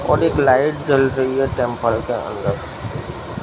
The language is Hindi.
और एक लाइट जल रही है टेंपल के अंदर--